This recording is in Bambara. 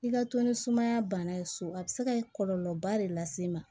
I ka to ni sumaya bana ye so a bi se ka kɔlɔlɔba de lase ma